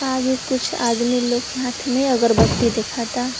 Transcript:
आगे कुछ आदमी लोग के हाथ में अगरबत्ती दिखाता।